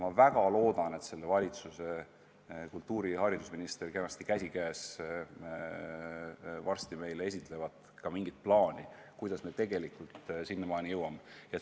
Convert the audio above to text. Ma väga loodan, et selle valitsuse kultuuri- ja haridusminister kenasti käsikäes esitlevad meile varsti mingit plaani, kuidas me tegelikult sinnamaani jõuame.